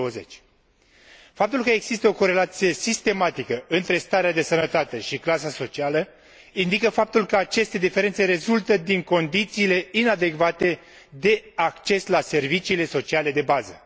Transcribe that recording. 2020. Faptul că există o corelație sistematică între starea de sănătate și clasa socială indică faptul că aceste diferențe rezultă din condițiile inadecvate de acces la serviciile sociale de bază.